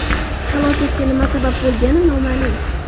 Halokatga nima sabab bo‘lgani noma’lum.